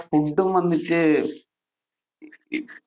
food ഉം വന്നിട്ട്